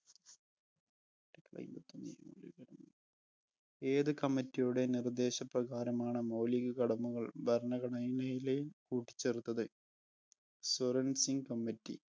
ഏത് committee യുടെ നിർദ്ദേശപ്രകാരമാണ് മൗലിക കടമകൾ ഭരണഘടനയില് കൂട്ടിച്ചേർത്തത്? സ്വരണ്‍ സിംഗ് committe